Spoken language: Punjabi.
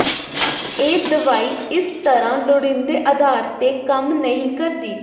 ਇਹ ਦਵਾਈ ਇਸ ਤਰ੍ਹਾਂ ਲੋੜੀਂਦੇ ਆਧਾਰ ਤੇ ਕੰਮ ਨਹੀਂ ਕਰਦੀ